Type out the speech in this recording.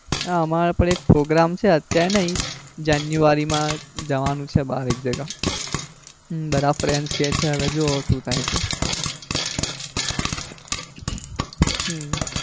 ના અમારે પણ એક program છે અત્યારે નઈ જાન્યુઆરી માં જવાનું છે બાર એક જગા બધા friends કે છે હવે જોવો શું થાય છે.